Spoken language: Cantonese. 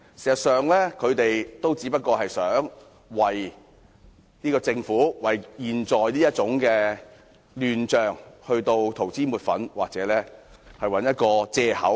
事實上，他們只想為這個政府和目前的亂象塗脂抹粉或找藉口。